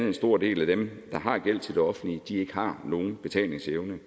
en stor del af dem der har gæld til det offentlige ikke har nogen betalingsevne